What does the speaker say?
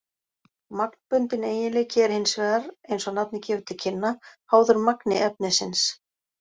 Magnbundinn eiginleiki er hins vegar, eins og nafnið gefur til kynna, háður magni efnisins.